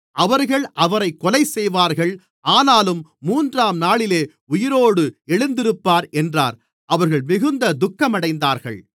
அவர்கள் அவரைக் கொலைசெய்வார்கள் ஆனாலும் மூன்றாம்நாளிலே உயிரோடு எழுந்திருப்பார் என்றார் அவர்கள் மிகுந்த துக்கமடைந்தார்கள்